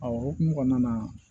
A o hokumu kɔnɔna na